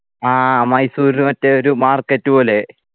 ആ മൈസൂര്ല് മറ്റേ ഒരു market പോലെ